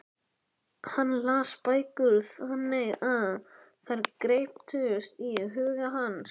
Hann las bækur þannig að þær greyptust í huga hans.